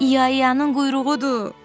İyayanın quyruğudur!